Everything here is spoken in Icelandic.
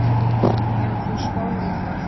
Hefur þú spáð í það?